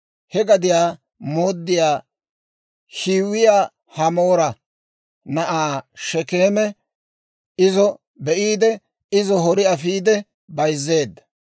He gadiyaa mooddiyaa Hiwiyaa Hamoora na'aa Shekeeme izo be'iide, izo hori afiide bayzzeedda.